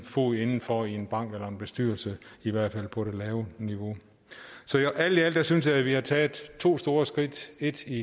fod inden for i en bank eller en bestyrelse i hvert fald på det lave niveau så alt i alt synes jeg vi har taget to store skridt et i